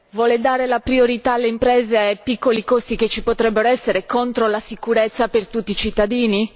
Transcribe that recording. Vuole dare la priorità alle imprese e ai piccoli costi che ci potrebbero essere contro la sicurezza per tutti i cittadini?